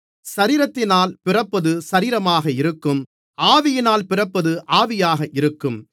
சரீரத்தினால் பிறப்பது சரீரமாக இருக்கும் ஆவியினால் பிறப்பது ஆவியாக இருக்கும்